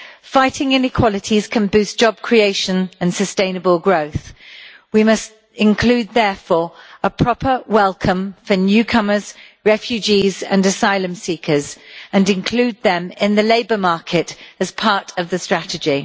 Fighting inequalities can boost job creation and sustainable growth. We must include, therefore, a proper welcome for newcomers, refugees and asylum seekers, and include them in the labour market as part of the strategy.